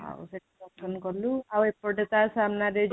ଆଉ ସେଠି ଦର୍ଶନ କଲୁ ଆଉ ଏପଟେ ତା ସାମ୍ନାରେ